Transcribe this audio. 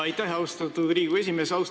Aitäh, austatud Riigikogu esimees!